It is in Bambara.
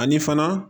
Ani fana